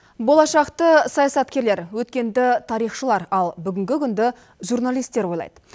болашақты саясаткерлер өткенді тарихшылар ал бүгінгі күнді журналистер ойлайды